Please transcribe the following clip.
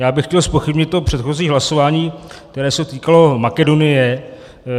Já bych chtěl zpochybnit to předchozí hlasování, které se týkalo Makedonie.